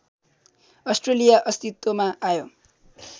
Australia अस्तित्वमा आयो